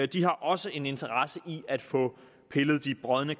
de har også en interesse i at få pillet de brodne kar